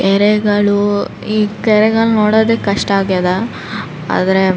ಕೆರೆಗಳು ಈ ಕೆರೆಗಳು ನೋಡಕ್ ಕಷ್ಟ ಆಗ್ಯದ ಆದ್ರೆ --